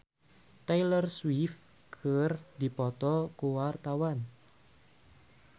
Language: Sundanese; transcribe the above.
Djoni Permato jeung Taylor Swift keur dipoto ku wartawan